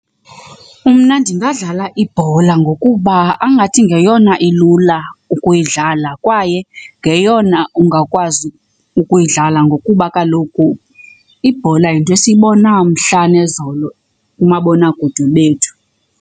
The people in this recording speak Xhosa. Mna ndingadlala ibhola ngokuba angathi ngeyona ilula ukuyidlala kwaye ngeyona ungakwazi ukuyidlala ngokuba kaloku ibhola yinto esiyibona mhla nezolo kumabonakude bethu.